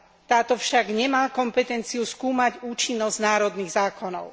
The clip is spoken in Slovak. Táto však nemá kompetenciu skúmať účinnosť národných zákonov.